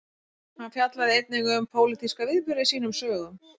hann fjallaði einnig um pólitíska viðburði í sínum sögum